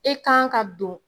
E kan ka don